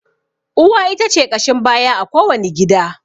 Uwa ita ce ƙashin baya a ko wani gida.